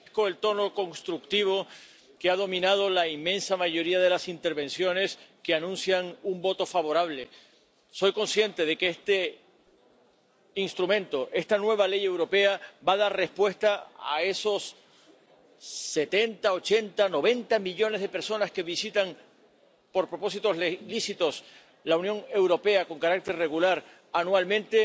Señor presidente, agradezco el tono constructivo que ha dominado la inmensa mayoría de las intervenciones que anuncian un voto favorable. Soy consciente de que este instrumento, esta nueva ley europea va a dar respuesta a esos setenta, ochenta, noventa millones de personas que visitan por propósitos lícitos la Unión Europea con carácter regular anualmente,